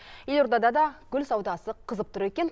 елордада да гүл саудасы қызып тұр екен